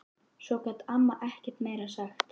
Svo gat amma ekkert meira sagt.